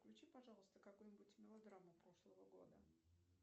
включи пожалуйста какую нибудь мелодраму прошлого года